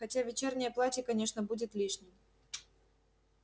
хотя вечернее платье конечно будет лишним